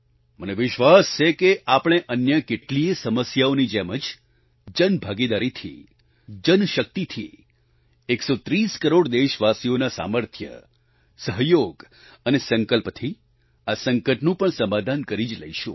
મને વિશ્વાસ છે કે આપણે અન્ય કેટલીયે સમસ્યાઓની જેમ જ જનભાગીદારીથી જનશક્તિથી એકસો ત્રીસ કરોડ દેશવાસીઓના સામર્થ્ય સહયોગ અને સંકલ્પથી આ સંકટનું પણ સમાધાન કરી જ લેશું